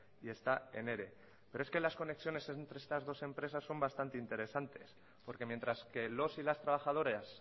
y está en ere pero es que las conexiones entre estas dos empresas son bastante interesantes porque mientras que los y las trabajadoras